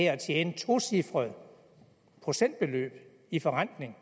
at tjene tocifrede procentbeløb i forrentning